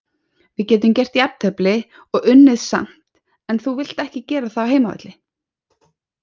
Við getum gert jafntefli og unnið samt en þú vilt ekki gera það á heimavelli.